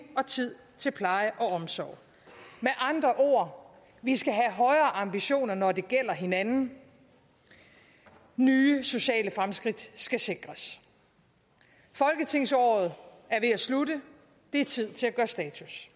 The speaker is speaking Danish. og tid til pleje og omsorg med andre ord vi skal have højere ambitioner når det gælder hinanden nye sociale fremskridt skal sikres folketingsåret er ved at slutte det er tid til at gøre status